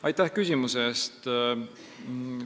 Aitäh küsimuse eest!